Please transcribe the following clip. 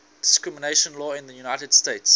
discrimination law in the united states